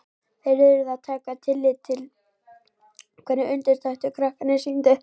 Þeir urðu að taka tillit til hvernig undirtektir krakkarnir sýndu.